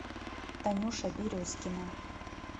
танюша березкина